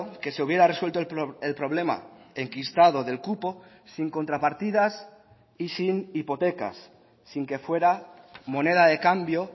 que se hubiera resuelto el problema enquistado del cupo sin contrapartidas y sin hipotecas sin que fuera moneda de cambio